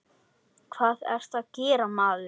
Hvað ertu að gera, maður?